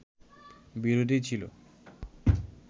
বিরোধী ছিল